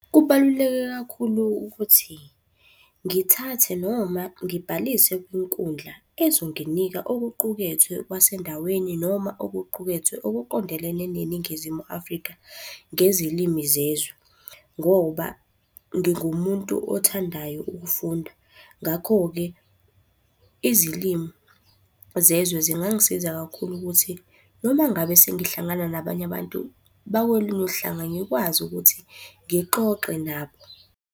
Kubaluleke kakhulu ukuthi ngithathe noma ngibhalise kwinkundla ezonginika okuqukethwe kwasendaweni noma okuqukethwe okuqondelene neNingizimu Afrika ngezilimi zezwe, ngoba ngingumuntu othandayo ukufunda. Ngakho-ke, izilimu zezwe zingangisiza kakhulu ukuthi noma ngabe sengihlangana nabanye abantu bakolunye uhlanga ngikwazi ukuthi ngixoxe nabo.